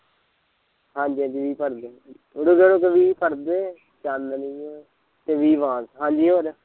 ਹਾਂਜੀ ਵੀਹ ਪਰਦੇ ਰੁਕੋ ਰੁਕੋ ਵੀਹ ਪਰਦੇ, ਚਾਨਣੀਆਂ ਤੇ ਵੀਹ ਬਾਂਸ ਹਾਂਜੀ ਹੋਰ